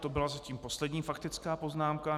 To byla zatím poslední faktická poznámka.